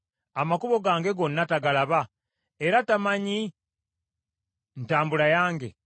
Amakubo gange gonna tagalaba, era tamanyi ntambula yange?